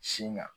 Sin kan